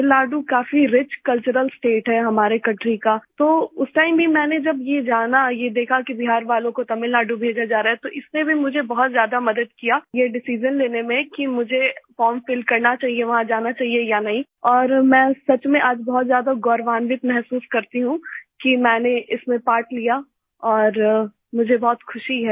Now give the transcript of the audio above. तमिलनाडु काफी rich cultural state है हमारे कंट्री का तो उस टाइम भी जब मैंने ये जाना ये देखा कि बिहार वालों को तमिलनाडु भेजा जा रहा है तो इसने भी मुझे बहुत ज्यादा मदद किया ये डिसाइजन लेने में कि मुझे फॉर्म फिल करना चाहिए वहाँ जाना चाहिए या नहीं और मैं सच में आज बहुत ज्यादा गौरवान्वित महसूस करती हूँ कि मैंने इसमें पार्ट लिया और मुझे बहुत खुशी है